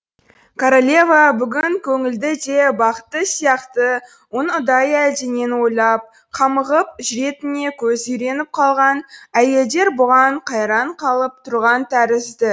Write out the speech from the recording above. королева бүгін көңілді де бақытты сияқты оның ұдайы әлденені ойлап қамығып жүретініне көзі үйреніп қалған әйелдер бұған қайран қалып тұрған тәрізді